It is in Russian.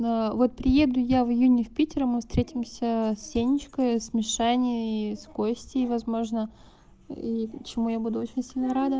аа вот приеду я в июне в питере мы встретимся с сенечкой с мишаней с костей возможно и чему я буду очень сильно рада